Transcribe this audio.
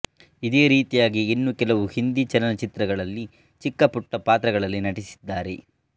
ಇದೇ ರೀತಿಯಾಗಿ ಇನ್ನೂ ಕೆಲವು ಹಿಂದಿ ಚಲನ ಚಿತ್ರಗಳಲ್ಲಿ ಚಿಕ್ಕಪುಟ್ಟ ಪಾತ್ರಗಳಲ್ಲಿ ನಟಿಸಿದ್ದಾರೆ